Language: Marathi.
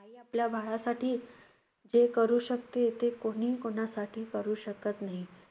आई आपल्या बाळासाठी जे करू शकते, ते कोणीही कोणासाठी करू शकत नाही.